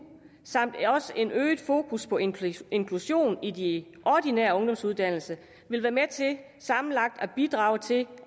samt et øget fokus på inklusion inklusion i de ordinære ungdomsuddannelser vil være med til sammenlagt at bidrage til